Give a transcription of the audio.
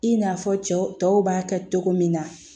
I n'a fɔ cɛw tɔw b'a kɛ cogo min na